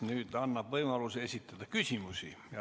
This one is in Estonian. Juhataja annab võimaluse esitada küsimusi.